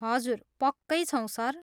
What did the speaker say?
हजुर, पक्कै छौँ, सर।